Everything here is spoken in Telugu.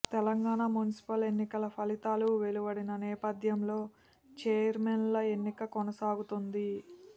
తెలంగాణ మున్సిపల్ ఎన్నికల ఫలితాలు వెలువడిన నేపథ్యంలో ఛైర్మన్ల ఎన్నిక కొనసాగుతోంది